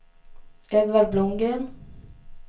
Edvard Blomgren